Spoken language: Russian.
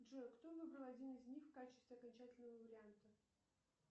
джой кто выбрал один из них в качестве окончательного варианта